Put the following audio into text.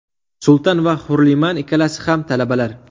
Sultan va Hurliman ikkalasi ham talabalar.